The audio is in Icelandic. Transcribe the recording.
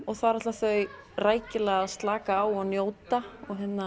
og þar ætla þau rækilega að slaka á og njóta